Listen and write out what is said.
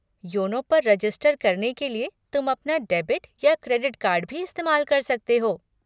YONO पर register करने के लिए तुम अपना डेबिट या क्रेडिट कार्ड भी इस्तेमाल कर सकते हो।